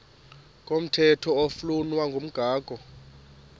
komthetho oflunwa ngumgago